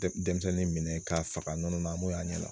Denmisɛnnin minɛ k'a faga nɔnɔ an b'o ye a ɲɛ la